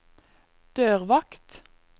dørvakt